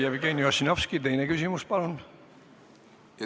Jevgeni Ossinovski, teine küsimus, palun!